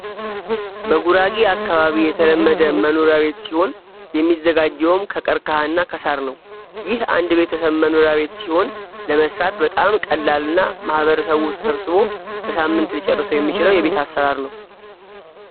በጉራጌ አካባቢ የተለመደ መኖሪያ ቤት ሲሆን የሚዘጋጀውም ከቀርቀሃና ከሳር ነው ይህ አንድ ቤተሰብ መኖሪያ ቤት ሲሆን ለመስራት በጣም ቀላልና ማህበረሰቡ ተሰብስቦ በሳምንት ሊጨርሰው የሚችለው የቤት አሰራር ነው።